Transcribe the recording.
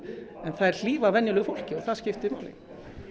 en þær hlífa venjulegu fólki og það skiptir máli